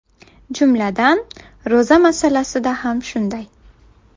Jumladan, ro‘za masalasida ham shunday.